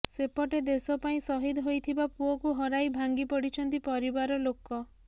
ସେପଟେ ଦେଶ ପାଇଁ ସହିଦ ହୋଇଥିବା ପୁଅକୁ ହରାଇ ଭାଙ୍ଗି ପଡିଛନ୍ତି ପରିବାର ଲୋକ